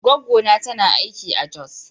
Goggona tana aiki a Jos.